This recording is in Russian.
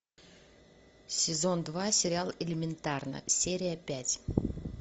сезон два сериал элементарно серия пять